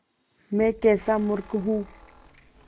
मैं कैसा मूर्ख हूँ